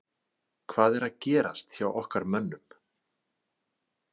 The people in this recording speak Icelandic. Hvað er að gerast hjá okkar mönnum?